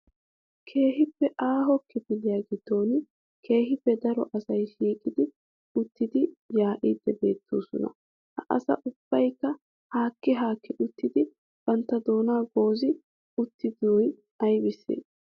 Keehippe aaho kilifiya giddon keehippe daro asay shiiqi uttidi yaa'ide beettoosona. Ha asay ubbaykka haakki haakki uttidi bantta doona goozi wottidoy aybbissee?